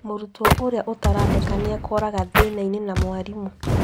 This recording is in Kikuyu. Mũrutwo ũrĩa ũtarandĩka nĩekoraga thĩnainĩ na mwarimũ